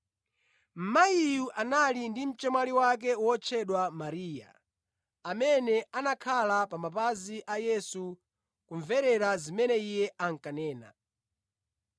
Mayiyu anali ndi mchemwali wake wotchedwa Mariya, amene anakhala pa mapazi a Yesu kumverera zimene Iye ankanena.